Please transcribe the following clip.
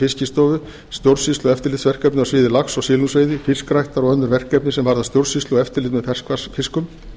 fiskistofu stjórnsýslu og eftirlitsverkefni á sviði lax og silungsveiði fiskræktar og önnur verkefni sem varða stjórnsýslu og eftirlit með ferskvatnsfiskum